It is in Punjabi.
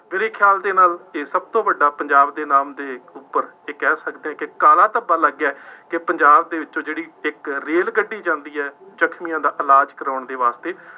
ਮੇਰੇ ਖਿਆਲ ਦੇ ਨਾਲ ਇਹ ਸਭ ਤੋਂ ਵੱਡਾ ਪੰਜਾਬ ਦੇ ਨਾਮ ਤੇ ਹੈ, ਇਹ ਕਹਿ ਸਕਦੇ ਹਾਂ ਕਿ ਕਾਲਾ ਧੱਬਾ ਲੱਗ ਗਿਆ ਹੈ ਕਿ ਪੰਜਾਬ ਦੇ ਵਿੱਚੋਂ ਜਿਹੜੀ ਇੱਕ ਰੇਲ ਗੱਡੀ ਜਾਂਦੀ ਹੈ, ਜ਼ਖਮੀਆਂ ਦਾ ਇਲਾਜ ਕਰਾਉਣ ਦੇ ਵਾਸਤੇ,